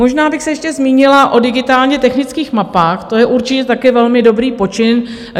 Možná bych se ještě zmínila o digitálně technických mapách, to je určitě také velmi dobrý počin.